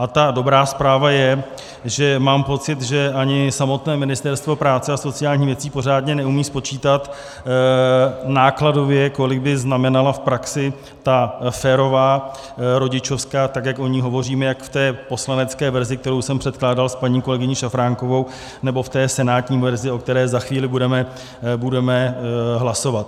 A ta dobrá zpráva je, že mám pocit, že ani samotné Ministerstvo práce a sociálních věcí pořádně neumí spočítat nákladově, kolik by znamenala v praxi ta férová rodičovská, tak jak o ní hovoříme jak v té poslanecké verzi, kterou jsem předkládal s paní kolegyní Šafránkovou, nebo v té senátní verzi, o které za chvíli budeme hlasovat.